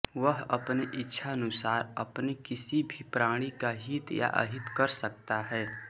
वह अपने इच्छानुसार अपने किसी भी प्राणी का हित या अहित कर सकता है